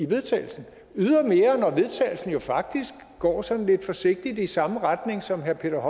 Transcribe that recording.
vedtagelsen jo faktisk går sådan lidt forsigtigt i samme retning som herre peter